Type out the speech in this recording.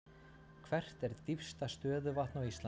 Hvert er dýpsta stöðuvatn á Íslandi?